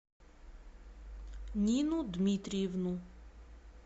нину дмитриевну